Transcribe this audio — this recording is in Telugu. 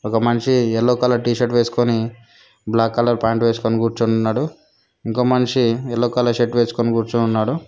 ఒక మనిషి ఎల్లో కలర్ టీషర్ట్ వేసుకొని బ్లాక్ కలర్ పాయింట్ వేసుకొని కూర్చొని ఉన్నాడు ఇంకో మనిషి ఎల్లో కలర్ షర్ట్ వేసుకొని కూర్చొని ఉన్నాడు.